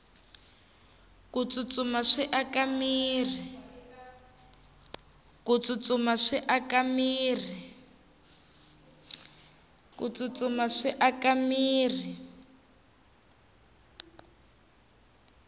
ku tsutsuma swi aka mirhi